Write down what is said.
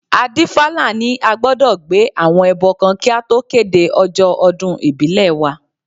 Adífálà ní a gbọdọ̀ gbé àwọn ẹbọ kan kí a tó kéde ọjọ́ ọdún ìbílẹ̀ wa